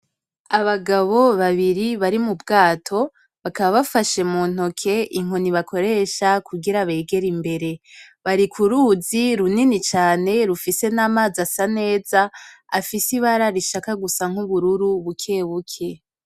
Abagabo babiri bari m'ubwato bakaba bafashe mu ntoke inkoni bakoresha kugira begere imbere , bari ku ruzi runini cane rufise n'amazi asa neza afise ibara rishaka gusa nk'ubururu bukebuke.